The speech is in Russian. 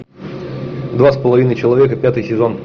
два с половиной человека пятый сезон